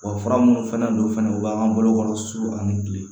fura minnu fana don fana u b'an ka bolokɔrɔ su ani kile